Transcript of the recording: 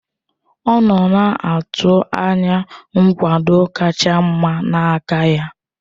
Ọ nọ na-atụ anya nkwado kacha mma n'aka ya.